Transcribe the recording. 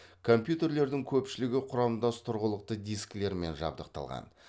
компьютерлердің көпшілігі құрамдас тұрғылықты дискілермен жабдықталған